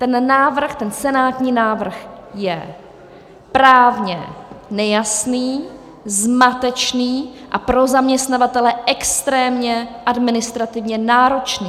Ten návrh, ten senátní návrh, je právně nejasný, zmatečný a pro zaměstnavatele extrémně administrativně náročný.